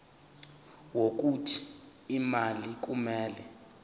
wokuthi imali kumele